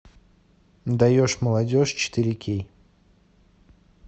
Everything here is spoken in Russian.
даешь молодежь четыре кей